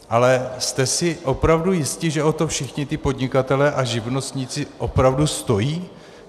Ale jste si opravdu jisti, že o to všichni ti podnikatelé a živnostníci opravdu stojí?